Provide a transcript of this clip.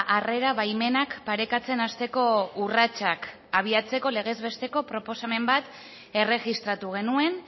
harrera baimenak parekatzen hasteko urratsak abiatzeko legez besteko proposamen bat erregistratu genuen